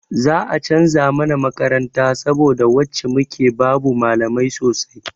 Za a canza mana makaranta saboda wacce muke babu malamai sosai.